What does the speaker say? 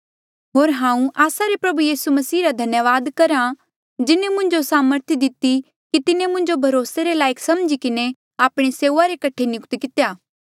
होर हांऊँ आस्सा रे प्रभु यीसू मसीह रा धन्यावाद करहा जिन्हें मुंजो सामर्थ दिती कि तिन्हें मुंजो भरोसे लायक समझी किन्हें आपणी सेऊआ रे कठे नियुक्त कितेया